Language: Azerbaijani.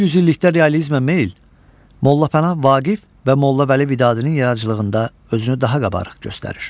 Bu yüzillikdə realizmə meyl Molla Pənah Vaqif və Molla Vəli Vidadinin yaradıcılığında özünü daha qabarıq göstərir.